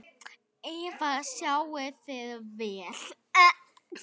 Eva: Sjáið þið vel?